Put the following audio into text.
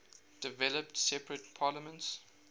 developed separate parliaments